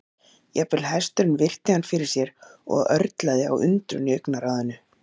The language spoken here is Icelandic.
Jafnvel hesturinn virti hann fyrir sér og örlaði á undrun í augnaráðinu.